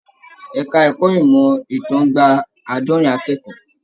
Ẹka ẹ̀kọ́ ìmọ ìtàn gbà aadọrin akẹ́kọ̀ọ́.